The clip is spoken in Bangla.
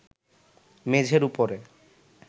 মেঝের উপরে